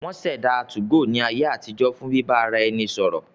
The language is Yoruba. Wọ́n ṣẹ̀dá 2go ní ayé àtijọ́ fún bíbá ara ẹni sọ̀rọ̀